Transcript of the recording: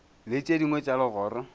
le tše dingwe tša legoro